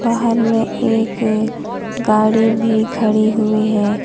बाहर में एक गाड़ी भी खड़ी हुई है।